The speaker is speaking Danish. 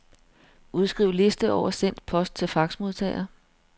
Udskriv liste over sendt post til faxmodtager.